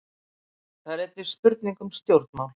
Þetta er einnig spurning um stjórnmál.